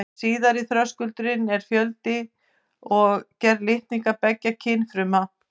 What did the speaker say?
Síðari þröskuldurinn er fjöldi og gerð litninga beggja kynfruma.